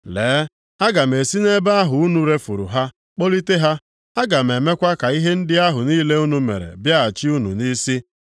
“Lee, aga m esi nʼebe ahụ unu refuru ha kpọlite ha. Aga m emekwa ka ihe ndị ahụ niile unu mere bịaghachi unu nʼisi.